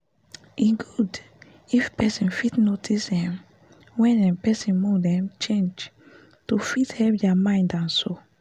e good if people fit notice um wen um person mood um sharply change to fit ease dia mind and soul